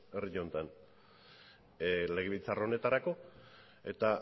herri honetan legebiltzar honetarako eta